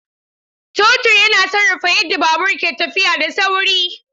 Totur yana sarrafa yadda babur ke tafiya da sauri.